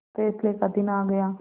फैसले का दिन आ गया